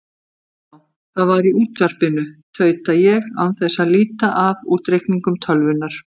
Já, það var í útvarpinu, tauta ég án þess að líta af útreikningum tölvunnar.